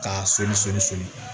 K'a soli soli soli